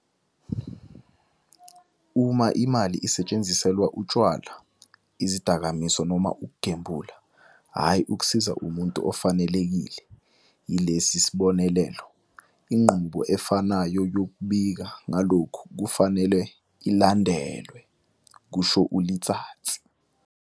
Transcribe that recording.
"Uma imali isetshenziselwa utshwala, izidakamizwa noma ukugembula, hhayi ukusiza umuntu ofanelekile yilesi sibonelelo, inqubo efanayo yokubika ngalokhu kufanele ilandelwe," kusho u-Letsatsi."